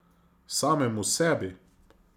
Samemu sebi?